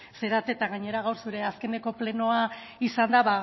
zarete eta gainera gaur zure azkeneko plenoa izanda